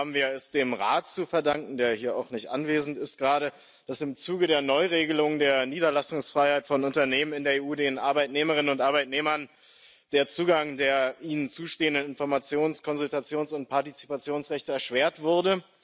Diesmal haben wir es dem Rat zu verdanken der hier auch gerade nicht anwesend ist dass im Zuge der Neuregelung der Niederlassungsfreiheit von Unternehmen in der EU den Arbeitnehmerinnen und Arbeitnehmern der Zugang zu den ihnen zustehenden Informations Konsultations und Partizipationsrechten erschwert wurde.